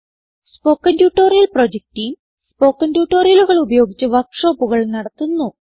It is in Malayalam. spoken tutorial project team spoken ട്യൂട്ടോറിയലുകൾ ഉപയോഗിച്ച് വർക്ക് ഷോപ്പുകൾ നടത്തുന്നു